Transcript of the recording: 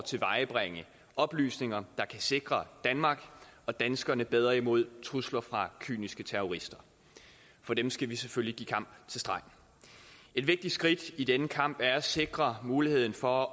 tilvejebringe oplysninger der kan sikre danmark og danskerne bedre imod trusler fra kyniske terrorister for dem skal vi selvfølgelig give kamp til stregen et vigtigt skridt i denne kamp er at sikre muligheden for